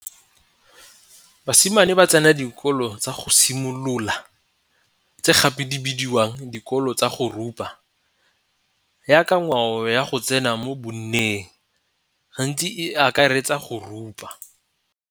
Basimane ba tsena dikolo tsa go simolola tse gape di bidiwang dikolo tsa go rupa yaka ngwao ya go tsena mo bonneng gantsi e akaretsa go rupa.